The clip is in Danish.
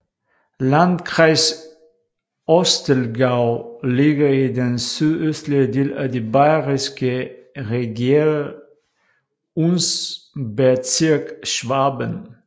Landkreis Ostallgäu ligger i den sydøstlige del af det bayerske Regierungsbezirk Schwaben